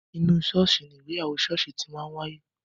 Inú ṣọ́ọ̀ṣì ni ìgbéyàwó ṣọ́ọ̀ṣì ti máa ń wáyé.